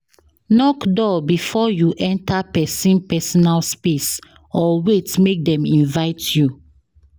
knock door before you enter persin personal space or wait make dem invite you